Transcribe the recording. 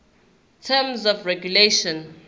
terms of regulation